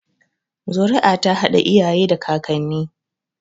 Zuri'a ta haɗa iyaye da kakanni